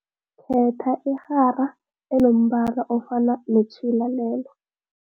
Khetha irhara enombala ofana netjhila lelo.